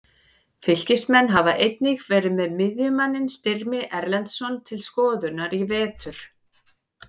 Fylkismenn hafa einnig verið með miðjumanninn Styrmi Erlendsson til skoðunar í vetur.